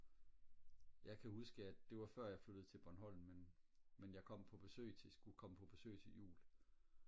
jeg kan huske at det var før jeg flyttede til bornholm men men jeg kom på besøg skulle komme på besøg til jul